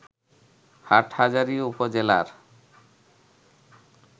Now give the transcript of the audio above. হাটহাজারী উপজেলার